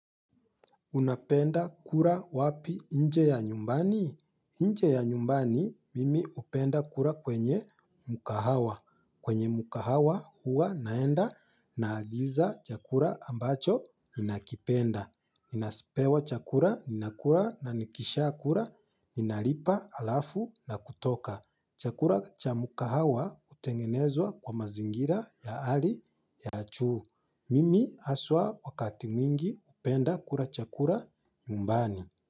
Unapenda kula wapi nje au nyumbani? Inje ya nyumbani, mimi upenda kura kwenye mukahawa. Kwenye mkahawa huwa naenda na agiza chakula ambacho ninakipenda. Ninapewa chakula, ninakula na nikishakula, ninalipa alafu na kutoka. Chakula cha mkahawa hutengenezwa kwa mazingira ya hali ya juu. Mimi haswa wakati mwingi hupenda kula chakula nyumbani.